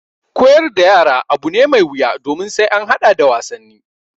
Koyar da yara abu ne mai wuya domin sai an haɗa da wasanni.